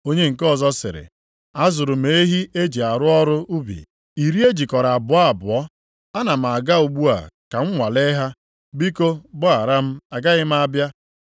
“Onye nke ọzọ sịrị, ‘Azụrụ m ehi e ji arụ ọrụ ubi, iri e jikọrọ abụọ abụọ. Ana m aga ugbu a ka m nwalee ha, biko gbaghara m, agaghị m abịa.’